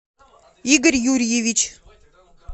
игорь юрьевич